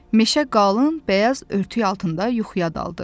Meşə qalın, bəyaz örtük altında yuxuya daldı.